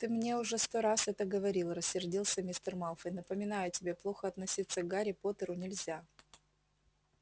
ты мне уже сто раз это говорил рассердился мистер малфой напоминаю тебе плохо относиться к гарри поттеру нельзя